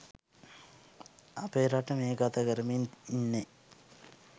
අපේ රට මේ ගත කරමින් ඉන්නේ